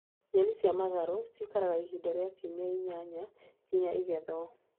Nyeni cia matharũ cikaraga ihinda rĩa ciumia inyanya nginya ĩgethwo.